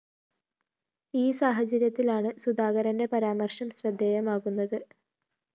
ഈ സാഹചര്യത്തിലാണ് സുധാകരന്റെ പരാമര്‍ശം ശ്രദ്ധയമാകുന്നത്